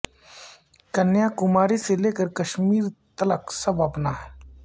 کنیا کماری سے لے کر کشمیر تلک سب اپنا ہے